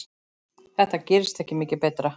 Þetta gerist ekki mikið betra.